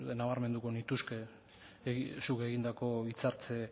nabarmenduko nituzke zuk egindako hitzartze